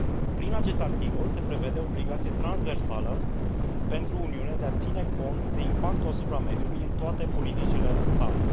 Prin acest articol se prevede o obligație transversală pentru Uniune de a ține cont de impactul asupra mediului în toate politicile sale.